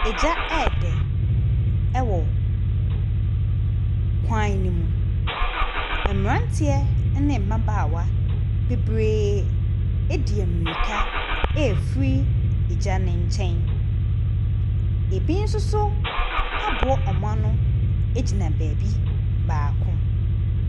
Egya ɛɛdɛ ɛwɔ kwan ne mu. Mberantiɛ ɛne mbabaawa bebree edie mirika efiri egya ne kyɛn. Ebi soso aboa ɔmo ano egyina beebi baako.